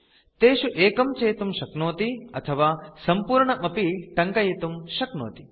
तेषु एकं चेतुं शक्नोति अथवा सम्पूर्णम् अपि टङ्कयितुं शक्नोति